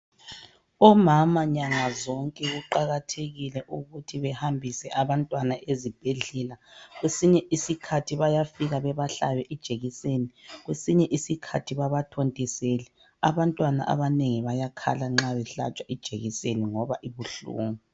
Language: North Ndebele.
Omama nyanga zonke kuqakathekile ukuthi behambise abantwana ezibhedlela. Kwesinye isikhathi bayafika bebahlabe ijekiseni, kwesinye isikhathi babathontisele. Abantwana abanengi bayakhala nxa behlatshwa ijekiseni ngoba ibuhlungu.